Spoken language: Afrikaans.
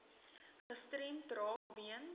gestremd raak weens